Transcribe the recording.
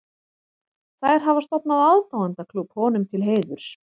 Þær hafa stofnað aðdáendaklúbb honum til heiðurs.